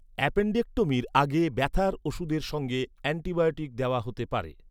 অ্যাপেণ্ডেক্টমির আগে ব্যথার ওষুধের সঙ্গে অ্যান্টিবায়োটিক দেওয়া হতে পারে।